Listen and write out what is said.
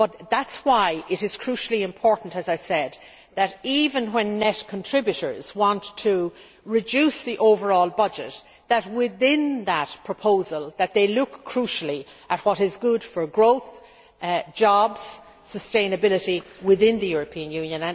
That is why it is crucially important, as I said, even when net contributors want to reduce the overall budget, that within that proposal they look crucially at what is good for growth, jobs and sustainability within the European Union.